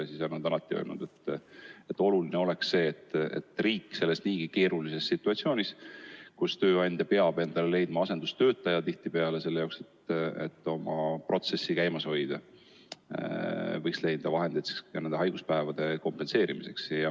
Nemad on alati öelnud, et oluline on see, et riik võiks selles niigi keerulises situatsioonis, kus tööandja peab tihtipeale leidma asendustöötaja, et protsessi käimas hoida, leida vahendeid ka haiguspäevade kompenseerimiseks.